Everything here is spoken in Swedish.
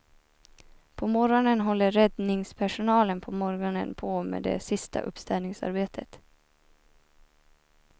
På morgonen håller räddingspersonalen på morgonen på med det sista uppstädningsarbetet.